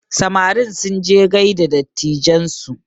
Samarin sunje gaida dattijan su